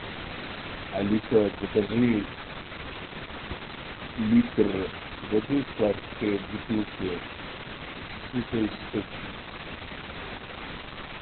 алиса закажи литр воды в пластиковой бутылке святой источник